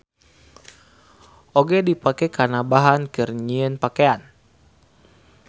Oge dipake kana bahan keur nyieun pakean.